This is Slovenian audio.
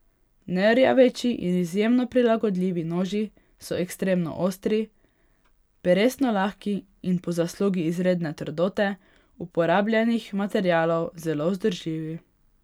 Nerjaveči in izjemno prilagodljivi noži so ekstremno ostri, peresno lahki in po zaslugi izredne trdote uporabljenih materialov zelo vzdržljivi.